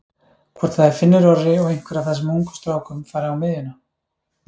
Hvort það er Finnur Orri og einhver af þessum ungu strákum fari á miðjuna?